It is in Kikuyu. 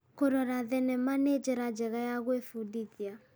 Kũrora thenema nĩnjĩra njega ya gwĩbundithia.